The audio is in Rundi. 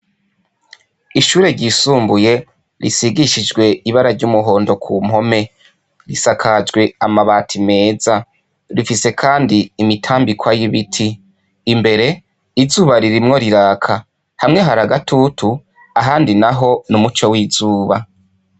Ishure ryisumbuye risigishijwe ibara ry'umuhondo ku mpome; risakajwe amabati meza. Rifise kandi imitambikwa y'ibiti. Imbere, izuba ririmwo riraka. Hamwe hari agatutu, ahandi naho n'umuco w'izuba.